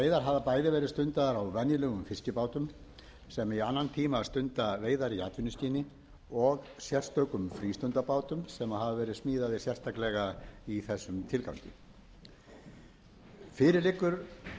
hafa bæði verðið stundaðar á venjulegum fiskibátum sem í annan tíma stunda veiðar í atvinnuskyni og sérstökum frístundabátum sem hafa verið smíðaðir sérstaklega í þessum tilgangi